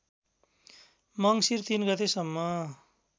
मङ्सिर ३ गतेसम्म